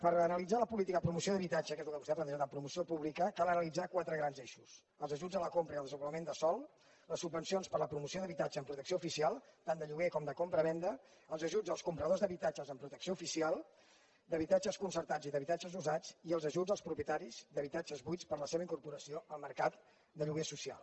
per analitzar la política de promoció d’habitatge que és el que vostè ha plantejat en promoció pública cal analitzar quatre grans eixos els ajuts a la compra i el desenvolupament de sòl les subvencions per a la promoció d’habitatge en protecció oficial tant de lloguer com de compravenda els ajuts als compradors d’habitatges en protecció oficial d’habitatges concertats i d’habitatges usats i els ajuts als propietaris d’habitatges buits per a la seva incorporació al mercat de lloguer social